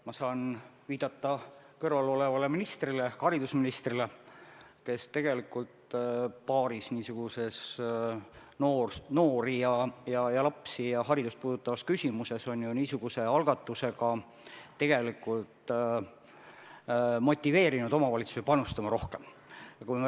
Ma saan viidata minu kõrval olevale ministrile, haridusministrile, kes on niisuguse algatusega mitmes noori, lapsi ja haridust puudutavas küsimuses juba tegelikult motiveerinud omavalitsusi rohkem panustama.